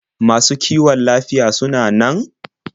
Masu kiwon lafiyar suna nan?